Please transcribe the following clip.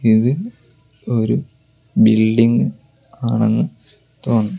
ഇത് ഒരു ബിൽഡിംഗ് ആണെന്ന് തോന്നുന്നു.